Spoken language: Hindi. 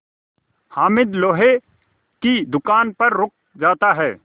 हामिद लोहे की दुकान पर रुक जाता है